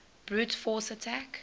brute force attack